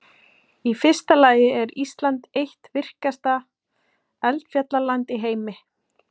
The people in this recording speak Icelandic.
Í fyrsta lagi er Ísland eitt virkasta eldfjallaland í heimi.